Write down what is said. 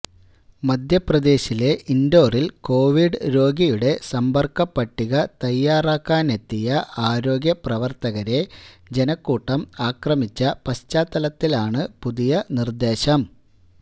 മധ്യപ്രദേശിലെ ഇന്ഡോറില് കൊവിഡ് രോഗിയുടെ സമ്പര്ക്ക പട്ടിക തയ്യാറാക്കാനെത്തിയ ആരോഗ്യപ്രവര്ത്തകരെ ജനക്കൂട്ടം ആക്രമിച്ച പശ്ചാത്തലത്തിലാണ് പുതിയ നിര്ദ്ദേശം